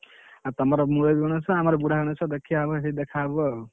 ଆଉ ତମର ମୁରବି ଗଣେଶ ଆମର ବୁଢା ଗଣେଶ ଦେଖିଆ ହବ ସେଇଠି ଦେଖା ହବ ଆଉ।